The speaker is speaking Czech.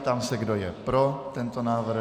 Ptám se, kdo je pro tento návrh.